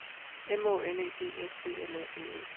M Å N E D S B L A D E